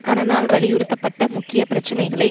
கனனால் வலியுறுத்தப்பட்ட முக்கிய பிரச்சினைகளை